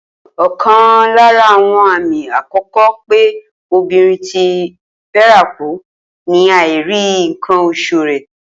Ò̩kan lára àwo̩n àmì àkó̩kó̩ pé obìnrin ti fé̩rakù ni àìrí nǹkan os̩ù rè̩